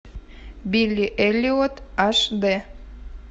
билли эллиот аш дэ